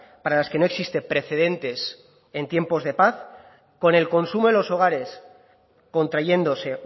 para las que no existen precedentes en tiempos de paz con el consumo en los hogares contrayéndose